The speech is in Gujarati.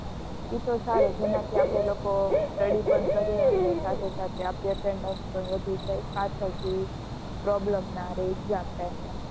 એ તો સારું જેના થી આપને લોકો study પણ કરીએ અને સાથે સાથે આપની attendance પણ વધી જાય પાછળ થી problem ના રે exam time એ